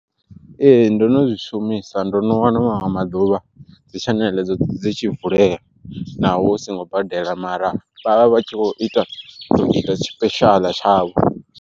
Ee ndo no zwi shumisa ndo no wana maṅwe maḓuvha, dzi tshaneḽe dzoṱhe dzi tshi vulea naho songo badela mara vha vha vha tshi kho ita ita tshipeshaḽa tshavho.